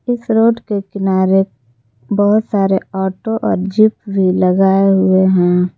इस रोड के किनारे बहोत सारे ऑटो और जिप भी लगाए हुए हैं।